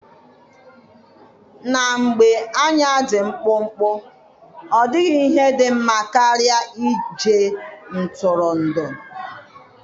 na mgbe anya dị mkpụmkpụ, ọ dịghị ihe dị mma karịa ije ntụrụndụ.